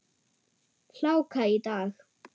Hláka í dag.